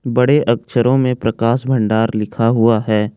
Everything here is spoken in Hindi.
बड़े अक्षरों में प्रकाश भंडार लिखा हुआ है।